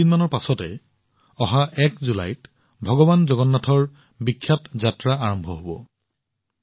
মাত্ৰ কেইদিনমানৰ ভিতৰতে ভগৱান জগন্নাথৰ বিখ্যাত যাত্ৰা ১ জুলাইৰ পৰা আৰম্ভ হব